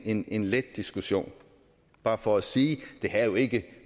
en en let diskussion bare for at sige at det her jo ikke